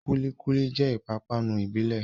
Kúlí kúlí jẹ́ ìpápánu ìbílẹ̀